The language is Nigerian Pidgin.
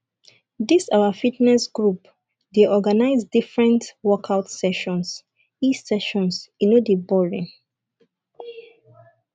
dis our fitness group dey organize different workout sessions e sessions e no dey boring